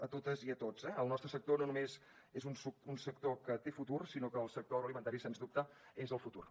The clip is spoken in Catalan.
a totes i a tots eh el nostre sector no només és un sector que té futur sinó que el sector agroalimentari sens dubte és el futur